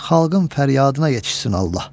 Xalqın fəryadına yetişsin Allah.